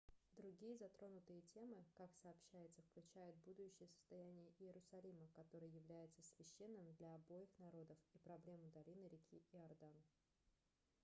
другие затронутые темы как сообщается включают будущее состояние иерусалима который является священным для обоих народов и проблему долины реки иордан